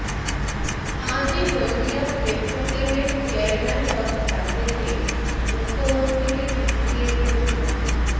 আজই হলদিয়া পেট্রোকেমের চেয়ারম্যান পদ ছাড়তে চেয়ে মুখ্যমন্ত্রীকে চিঠি দিয়েছেন তিনি